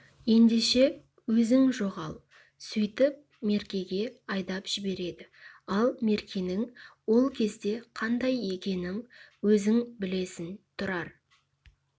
ендеше өзің жоғал сөйтіп меркеге айдап жібереді ал меркенің ол кезде қандай екенін өзің білесің тұрар